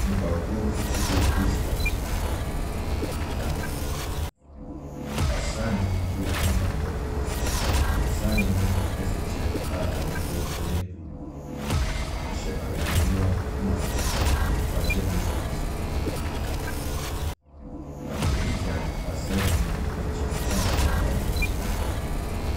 Nnipakuo bi atwa ahyia na asra ni bi nso nam hɔ. Asrani no hyɛ kyɛ a n'ahusuo yɛ blue. Ɔhyɛ ahwehwɛniwa na ɔhyɛ nose mask tuntum. Obi gyina asrani no nkyɛn a ɔhyɛ ataadeɛ kɔkɔɔ.